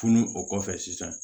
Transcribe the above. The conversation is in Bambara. Furu o kɔfɛ sisan